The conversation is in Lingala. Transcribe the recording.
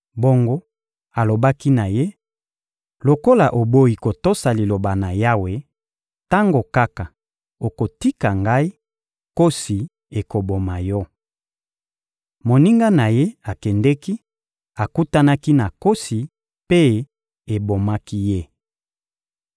Bongo alobaki na ye: — Lokola oboyi kotosa Liloba na Yawe, tango kaka okotika ngai, nkosi ekoboma yo. Moninga na ye akendeki, akutanaki na nkosi, mpe ebomaki ye.